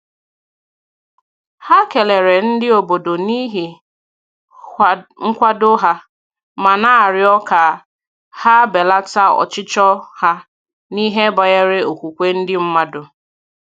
Ha kelere ndị obodo n'ihi nkwado ha, ma na-arịọ ka ha belata ọchịchọ ha n'ihe banyere okwukwe ndị mmadụ